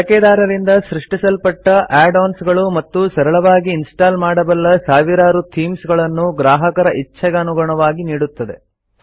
ಬಳಕೆದಾರರಿಂದ ಸೃಷ್ಟಿಸಲ್ಪಟ್ಟ add ons ಗಳು ಮತ್ತು ಸರಳವಾಗಿ ಇನ್ಸ್ಟಾಲ್ ಮಾಡಬಲ್ಲ ಸಾವಿರಾರು ಥೀಮ್ಸ್ಗಳನ್ನು ಗ್ರಾಹಕರ ಇಚ್ಚೆಗನುಗುಣವಾಗಿ ನೀಡುತ್ತದೆ